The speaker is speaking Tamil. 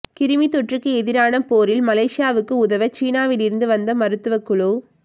கிருமித்தொற்றுக்கு எதிரான போரில் மலேசியாவுக்கு உதவ சீனாவிலிருந்து வந்த மருத்துவக் குழு